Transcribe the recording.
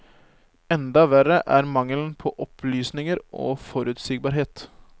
Enda verre er mangelen på opplysninger og forutsigbarhet.